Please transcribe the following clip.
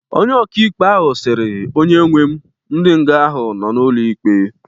Onye okịikpe ahu sịrị"onye nwe m,ndi nga ahụ nọ na ụlo ikpe